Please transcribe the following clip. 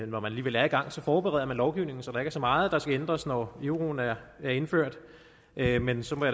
når man alligevel er i gang forbereder man lovgivningen så der ikke er så meget der skal ændres når euroen er er indført men men så må